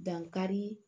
Dankari